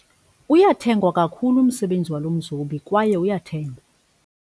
Uyathengwa kakhulu umsebenzi walo mzobi kwaye uyathengwa.